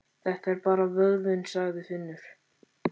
Þetta er bara vöðvinn, sagði Finnur.